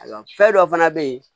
Ayiwa fɛn dɔ fana bɛ yen